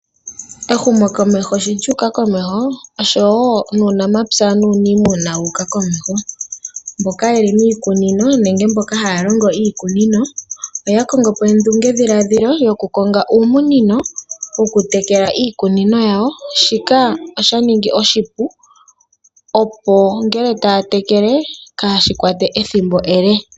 Ehumokomeho sho lyuka komeho, oshowo nuunamapya nuuniimuna wuka komeho. Mboka yeli miikunino, nenge mboka halongo iikunino oya kongopo ondunge dhiladhilo yoku konga uumunino wokutekela iikunino yawo shika oshaningi oshipu opo ngele tatekele kashi kwate ethimbo ele.